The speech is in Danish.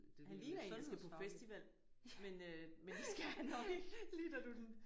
Han ligner en der skal på festival men øh men det skal han nok ikke